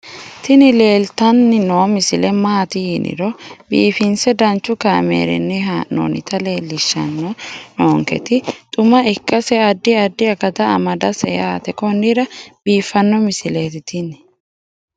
tini leeltanni noo misile maaati yiniro biifinse danchu kaamerinni haa'noonnita leellishshanni nonketi xuma ikkase addi addi akata amadaseeti yaate konnira biiffanno misileeti tini